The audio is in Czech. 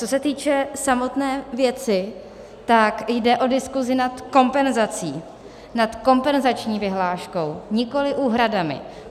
Co se týče samotné věci, tak jde o diskusi nad kompenzací, nad kompenzační vyhláškou, nikoli úhradami.